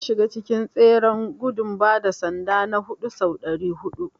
Na shiga cikin tseren gudun bada sanda na huɗu sau ɗari huɗu.